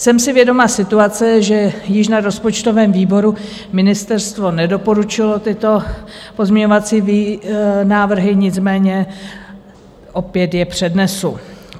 Jsem si vědoma situace, že již na rozpočtovém výboru ministerstvo nedoporučilo tyto pozměňovací návrhy, nicméně opět je přednesu.